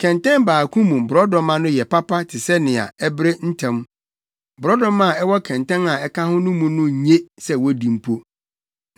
Kɛntɛn baako mu borɔdɔma no yɛ papa te sɛ nea ɛbere ntɛm; borɔdɔma a ɛwɔ kɛntɛn a ɛka ho no mu no nye sɛ wodi mpo.